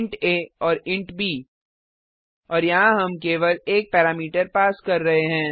int a और int b और यहाँ हम केवल एक पैरामीटर पास कर रहे हैं